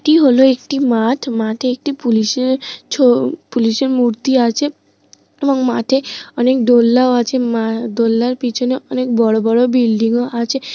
এটি হল একটি মাঠ। মাঠে একটি পুলিশ -এর ছো-ও পুলিশ -এর মূর্তি আছে। এবং মাঠে অনেক দোলনাও আছে মা দোলনার পিছনে অনেক বড়ো বড়ো বিল্ডিং -ও আছে।